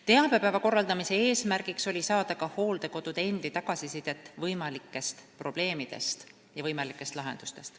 Teabepäeva korraldamise eesmärk oli saada ka hooldekodude endi tagasisidet võimalikest probleemidest ja nende lahendustest.